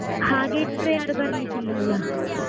ಹಾಗೆ ಇಟ್ರೆ ಯಾರು ಬರ್ಲಿಕ್ಕೆ ಇಲ್ಲಲ್ಲ.